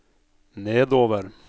nedover